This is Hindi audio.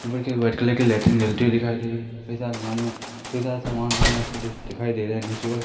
व्हाइट कलर की लाइटिंग जलती हुई दिखाई दे रही है कई सारी अलमारियां कई सामान वहां रखा दि दिखाई दे रहा है नीचे वाल--